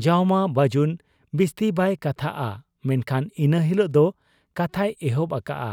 ᱡᱟᱣᱢᱟ ᱵᱟᱹᱡᱩᱱ ᱵᱤᱥᱛᱤ ᱵᱟᱭ ᱠᱟᱛᱷᱟᱜ ᱟ, ᱢᱮᱱᱠᱷᱟᱱ ᱤᱱᱟᱹ ᱦᱤᱞᱚᱜ ᱫᱚ ᱠᱟᱛᱷᱟᱭ ᱮᱦᱚᱵ ᱟᱠᱟᱜ ᱟ,